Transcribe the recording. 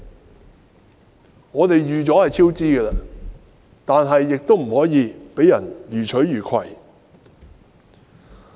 雖然我們已有超支的準備，卻不可以讓人予取予攜。